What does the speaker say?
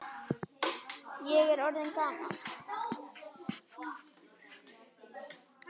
Ég er orðinn gamall.